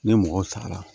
Ni mɔgɔ sara la